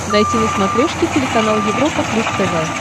найти на смотрешке телеканал европа плюс тв